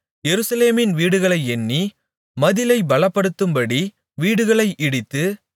எருசலேமின் வீடுகளை எண்ணி மதிலை பலப்படுத்தும்படி வீடுகளை இடித்து